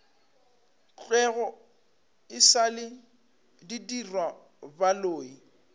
thwego e sa le didirwabaloi